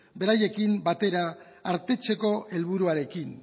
beraiekin batera artetzeko helburuarekin